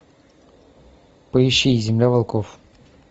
поищи земля волков